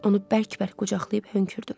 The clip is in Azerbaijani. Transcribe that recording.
Onu bərk-bərk qucaqlayıb hönkürdüm.